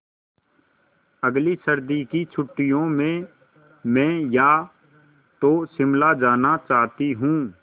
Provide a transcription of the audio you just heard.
अगली सर्दी की छुट्टियों में मैं या तो शिमला जाना चाहती हूँ